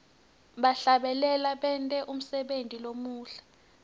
bahlabeleli benta umsebenti lomuhle